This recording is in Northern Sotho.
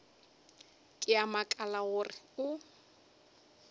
ke a makala gore o